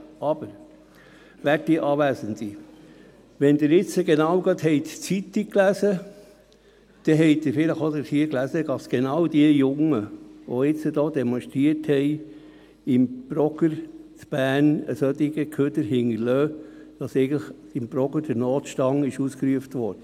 Aber, werte Anwesende, wenn Sie jetzt gerade die Zeitung gelesen haben, dann haben Sie vielleicht auch dies hier gelesen, nämlich, dass genau die Jungen, die demonstriert hatten, im Progr in Bern einen solchen Abfall hinterliessen, sodass im Progr eigentlich der Notstand ausgerufen wurde.